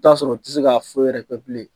T'a sɔrɔ u te se ka foyi wɛrɛ kɛ bilen.